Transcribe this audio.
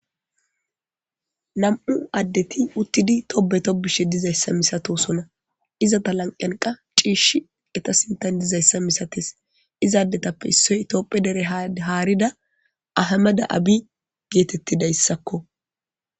nam7u addeti uttidi tobe to bishe dizayssa misatosona izata lanqanqa ciish eta sintan dizayssa misates izaadetappe issoy itopphe dere haarida ahamada abi geetettidayssakko